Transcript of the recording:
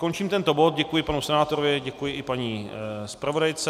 Končím tento bod, děkuji panu senátorovi, děkuji i paní zpravodajce.